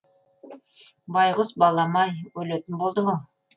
байғұс балам ай өлетін болдың ау